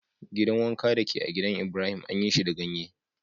Gidan wankan da ke a'gidan Ibrahim anyi shi da ganye.